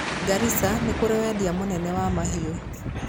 Garissa nĩ kũũrĩ wendia mũnene wa mahiũ.